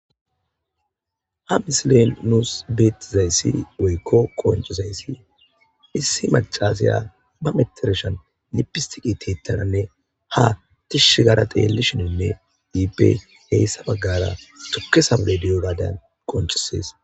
Ha misilen nusu beetizayssi woyko qonccizaysi isi maccasiya ba mettershsha bolla lipistike tiyetada ha tishshi gaada xeelashenna ha iipe eesa baggara tuke say de7iyogadan qonccisees.